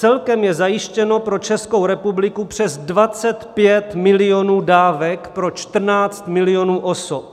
Celkem je zajištěno pro Českou republiku přes 25 milionů dávek pro 14 milionů osob.